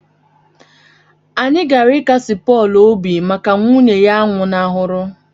Anyị gara ịkasi Pọl obi mgbe nwunye a nwụnahụrụ